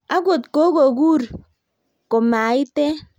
akot kokokuur komaiten